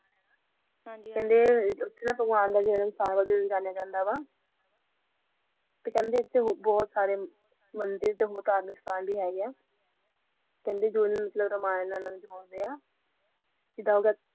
ਹਾਂਜੀ ਹਾਂਜੀ ਤੇ ਕਹਿੰਦੇ ਉਡਦੇ ਬੋਹਤ ਸਾਰੇ ਮੰਦਿਰ ਤੇ ਭੂਤ ਹੈਗੀ